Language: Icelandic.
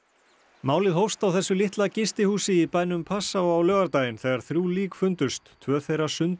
málið hófst á þessu litla gistihúsi í bænum Passau á laugardaginn þegar þrjú lík fundust tvö þeirra